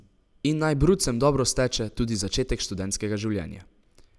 In naj brucem dobro steče tudi začetek študentskega življenja!